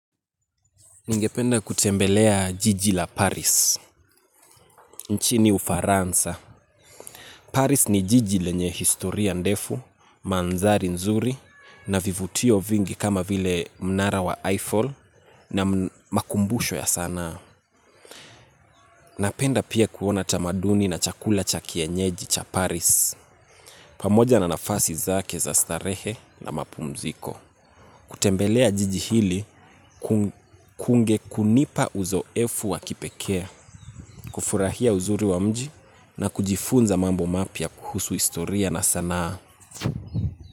Ningependa kutembelea jiji la Paris, nchini ufaransa. Paris ni jiji lenye historia ndefu, mandhari nzuri, na vivutio vingi kama vile mnara wa Eiffel na makumbusho ya sanaa. Napenda pia kuona tamaduni na chakula cha kienyeji cha Paris. Pamoja na nafasi zake za starehe na mapumziko. Kutembelea jiji hili kunge kunipa uzoefu wa kipekee, kufurahia uzuri wa mji na kujifunza mambo mapya kuhusu istoria na sanaa.